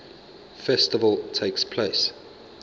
festival takes place